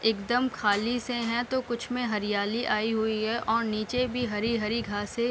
एकदम खाली से है तो कुछ में हरियाली आई हुई है और नीचे भी हरी-हरी घासें --